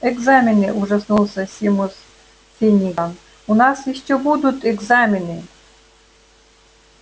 экзамены ужаснулся симус финниган у нас ещё будут экзамены